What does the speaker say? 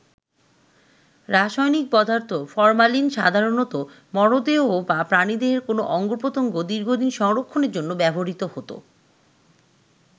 রাসায়নিক পদার্থ ফরমালিন সাধারণত মরদেহ বা প্রাণীদেহের কোনো অঙ্গপ্রত্যঙ্গ দীর্ঘদিন সংরক্ষণের জন্য ব্যবহৃত হতো।